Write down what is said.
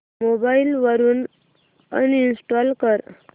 mobile वरून uninstall कर